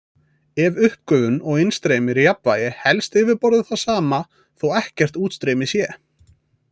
Ef uppgufun og innstreymi eru í jafnvægi helst yfirborðið það sama þó ekkert útstreymi sé.